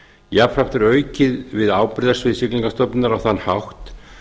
jafnframt er aukið við ábyrgðarsvið siglingamálastofnunar á þann hátt